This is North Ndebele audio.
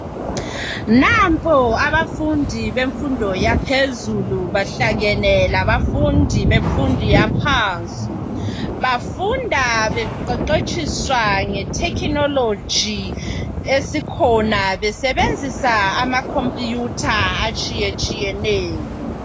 Nampo abafundi bemfundo yaphezulu behlangene labafundi bemfundo yaphansi bafunda beqeqetshiswa nge technology esikhona besebenzisa amakhompiyutha atshiyetshiyeneyo.